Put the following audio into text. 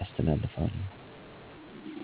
ያስተላልፋል። Telegram ፈጣን፣ ደህንነቱ የተጠበቀ አና በቡድን ወሰጥ ለመወያየት ተሰማሚ። Facebook messager ከፌስቡክ ጋር ተያይዘ የሚስራ ሲሆን በቪዲዮ እና ድምፅ ጥርዋች ይታወቃል። zoom በተለይ ለቡድን ጥሪዋችአና የመስመር ለይ ተሰብሳቢዎች ይጠቅማል። skype ለረጅም ጊዜ የቆየ አና አስተማማኝ የቪዲዮ ጥሪ አገልገሎት። ቴኮኖሎጂ ግንኙነትን እንዴት አሻሽሏል የጊዜ አና የቦታ ገደቦችን አስወግዷል በቀጥታ ፈት ለፈት መነጋገር የሚችል ሆኗል። በቀጥታ መልእክት ማስተላለፍ